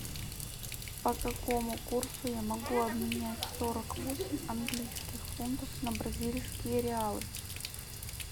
по какому курсу я могу обменять сорок восемь английских фунтов на бразильские реалы